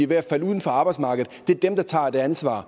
ved at falde ud af arbejdsmarkedet det er dem der tager det ansvar